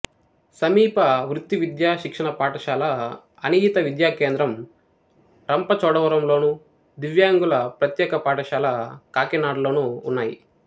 సమీప వృత్తి విద్యా శిక్షణ పాఠశాల అనియత విద్యా కేంద్రం రంపచోడవరంలోను దివ్యాంగుల ప్రత్యేక పాఠశాల కాకినాడ లోనూ ఉన్నాయి